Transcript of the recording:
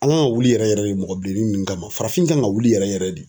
An kan ka wuli yɛrɛ yɛrɛ de mɔgɔ bilenni ninnu kama farafin kan ka wuli yɛrɛ yɛrɛ de.